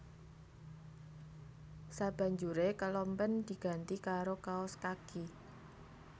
Sabanjuré kelompen diganti karo kaos kaki